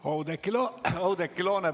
Oudekki Loone, palun!